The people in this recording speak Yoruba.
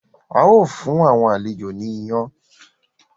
ào fún àwọn àlejò ní iyán.